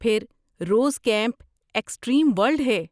پھر روز camp extreme world ہے